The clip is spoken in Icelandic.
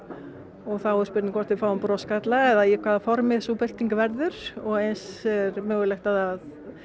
og þá er spurning hvort við fáum broskarla eða í hvaða formi sú birting verður og eins er mögulegt að það